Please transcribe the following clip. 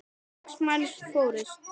Sex manns fórust.